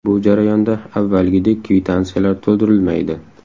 Bu jarayonda avvalgidek kvitansiyalar to‘ldirilmaydi.